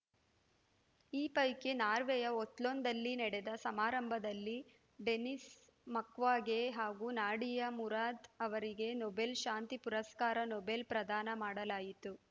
ಈ ಪೈಕಿ ನಾರ್ವೆಯ ಓಸ್ಲೋದಲ್ಲಿ ನಡೆದ ಸಮಾರಂಭದಲ್ಲಿ ಡೆನಿಸ್‌ ಮುಕ್ವಾಗೆ ಹಾಗೂ ನಾಡಿಯಾ ಮುರಾದ್‌ ಅವರಿಗೆ ನೊಬೆಲ್‌ ಶಾಂತಿ ಪುರಸ್ಕಾರ ನೊಬೆಲ್‌ ಪ್ರದಾನ ಮಾಡಲಾಯಿತು